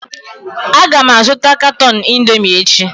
Aga m azụta katọn Indomi echi